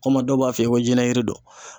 kama dɔw b'a f'i ye ko jiɲɛyiri do.